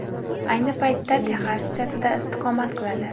Ayni paytda Texas shtatida istiqomat qiladi.